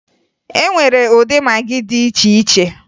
E nwere ụdị magị dị iche iche